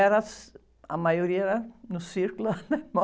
Era, a maioria era no círculo alemão.